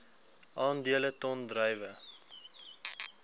aandele ton druiwe